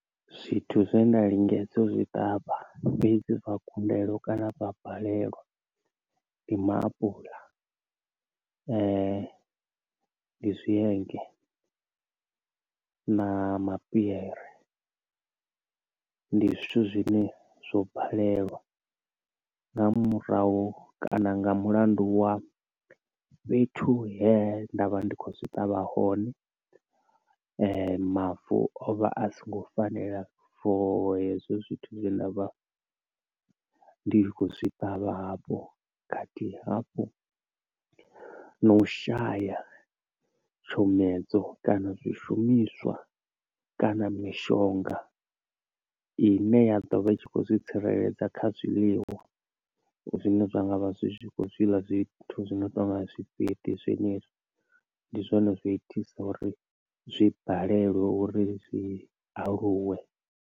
Zwithu zwe nda lingedza zwi ṱavha fhedzi zwa kundelwe kana zwa balelwa ndi maapuḽa, ndi zwienge na mapiyere, ndi zwithu zwine zwo balelwa nga murahu kana nga mulandu wa fhethu he ndavha ndi kho zwi ṱavha hone, mavu o vha a songo fanela for hezwo zwithu zwi ndavha ndi tshi kho zwi ṱavha hafho kha thihi hafhu no u shaya tshomedzo kana zwi shumiswa kana mishonga ine ya ḓovha i tshi khou ḓi tsireledza kha zwiḽiwa zwine zwa ngavha zwi khou zwiḽa zwithu zwino tonga zwifheṱi zwenezwi, ndi zwone zwa itisa uri zwi balelwe uri zwi aluwe.